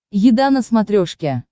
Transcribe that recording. еда на смотрешке